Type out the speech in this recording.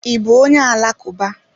I bú onye alakuba?